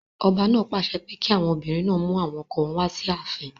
Ọba náà pàṣẹ pé kí àwọn obìnrin náà mú àwọn ọkọ wọn wá sí ààfin.